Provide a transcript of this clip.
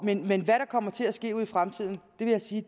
men hvad der kommer til at ske ud i fremtiden vil jeg sige